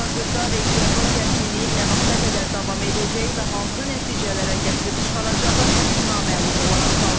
Hazırda regionda gərginliyin nə vaxta qədər davam edəcəyi və hansı nəticələrə gətirib çıxaracağı naməlum olaraq qalır.